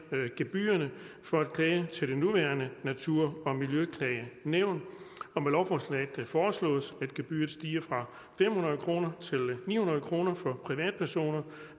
gebyrerne for at klage til det nuværende natur og miljøklagenævn og med lovforslaget foreslås det at gebyret stiger fra fem hundrede kroner til ni hundrede kroner for privatpersoner